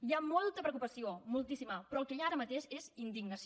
hi ha molta preocupació moltíssima però el que hi ha ara mateix és indignació